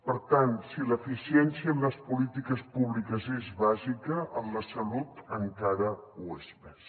per tant si l’eficiència en les polítiques públiques és bàsica en la salut encara ho és més